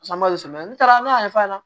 Samalen ta ne y'a ɲɛfɔ a ɲɛna